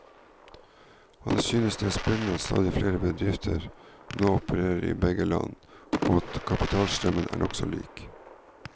Han synes det er spennende at stadig flere bedrifter nå opererer i begge land, og at kapitalstrømmen er nokså lik.